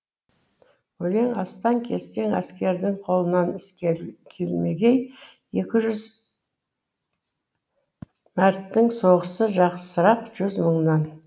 өлең астан кестен әскердің қолынан іс келмегей екі жүз мәрттің соғысы жақсырақ жүз мыңнан